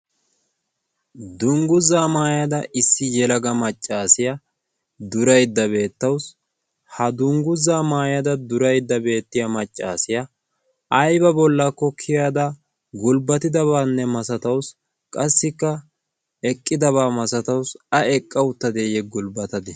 dungguzaa maayada issi yelaga maccaasiyaa duraydda beettawusi ha dungguzaa maayada duraydda beettiya maccaasiyaa ayba bollakko kiyada gulbbatidabaanne masataussi qassikka eqqidabaa masataussi a eqqa uttadeeyye gulbbatadee